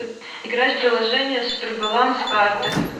играть в приложение супер баланс карты